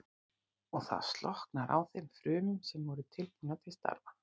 Og það slokknar á þeim frumum sem voru tilbúnar til starfa.